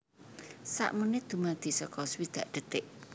Sak menit dumadi saka swidak detik